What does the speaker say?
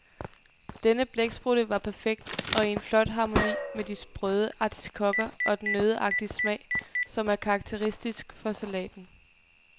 Denne blæksprutte var perfekt og i en flot harmoni med de sprøde artiskokker og den nøddeagtige smag, som er karakteristisk for salaten.